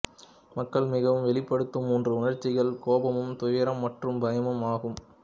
மக்கள் மிகவும் வெளிபடுதும் மூன்று உணர்ச்சிகள் கோபமும் துயரம் மற்றும் பயமும் ஆகும்